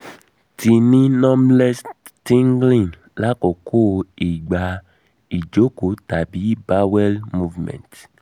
mo ti ni numbness/tingling lakoko nigba ijoko tabi bowel movement